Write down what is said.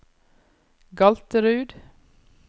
Galterud